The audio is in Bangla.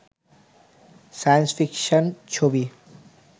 সায়েন্স ফিকশান ছবি